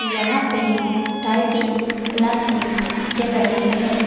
यहाँ पे typing classes चल रही है।